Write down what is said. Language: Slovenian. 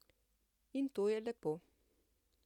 In to je lepo.